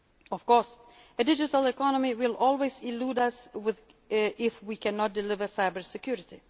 single market. Of course, a digital economy will always elude us if we cannot deliver